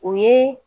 O ye